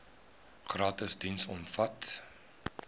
gratis diens omvat